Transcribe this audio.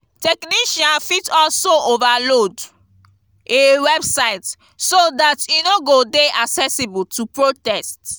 technician fit also overload a website so that e no go de accessible to protest